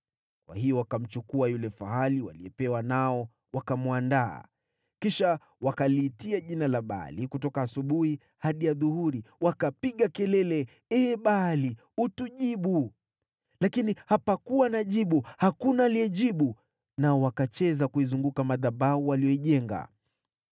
Kwa hiyo wakamchukua yule fahali waliyepewa, nao wakamwandaa. Kisha wakaliitia jina la Baali kutoka asubuhi hadi adhuhuri, wakapiga kelele, “Ee Baali, utujibu!” Lakini hapakuwa na jibu; hakuna aliyejibu. Nao wakacheza kuizunguka madhabahu waliyoijenga.